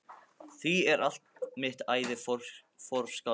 Því er allt mitt æði forkastanlegt.